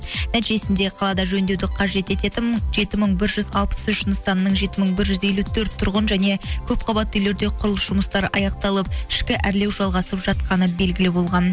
нәтижесінде қалада жөндеуді қажет ететін жеті мың бір жүз алпыс үш нысанның жеті мың бір жүз елу төрт тұрғын және көпқабатты үйлерде құрылыс жұмыстары аяқталып ішкі әрлеу жалғасып жатқаны белгілі болған